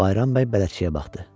Bayram bəy bələdçiyə baxdı.